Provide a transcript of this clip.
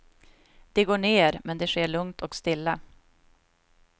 Det går ner, men det sker lugnt och stilla.